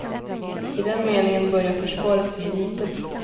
I den meningen börjar försvaret bli litet.